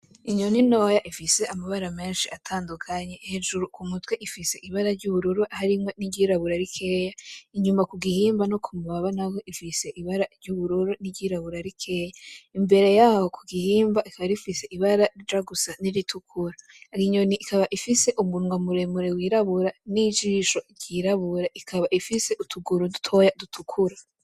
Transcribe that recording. Inyoni ntoya ifise amabara menshi atandukanye hejuru k'umutwe ifise ibara ry'ubururu harimwo niry'irabura rikeya inyuma kugihimba no kumunwa urabonako ifise ibara ryuburu niry'irabura rikeya imbere yaho kugihimba ikaba rifise ibara rija gusa n'iritukura, inyoni rikaba rifise umunywa wirabura n'ijisho ryirabura ikaba ifise utuguru dutoya dutukura.